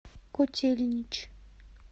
котельнич